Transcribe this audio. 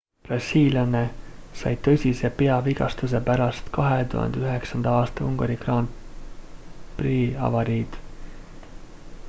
brasiillane sai tõsise peavigastuse pärast 2009 aasta ungari grand prix'i avariid